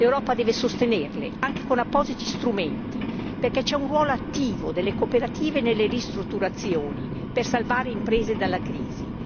L'Europa deve sostenerle, anche con appositi strumenti, perché c'è un ruolo attivo delle cooperative nelle ristrutturazioni per salvare le imprese dalla crisi.